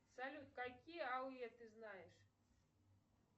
салют какие ауе ты знаешь